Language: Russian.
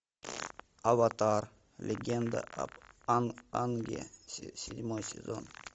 аватар легенда об аанге седьмой сезон